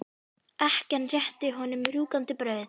Ekkjan rétti að honum rjúkandi brauð.